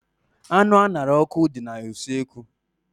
Anụ a ṅara n'ọkụ dị na usekwu.